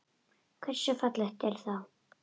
Hversu fallegt er það?